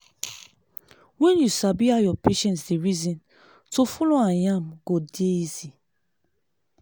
when you sabi how your patient dey reason to follow am yarn go dey easy.